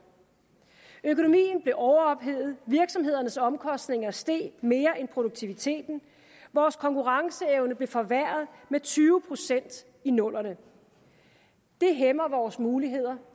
økonomien blev overophedet virksomhedernes omkostninger steg mere end produktiviteten vores konkurrenceevne blev forværret med tyve procent i nullerne det hæmmer vores muligheder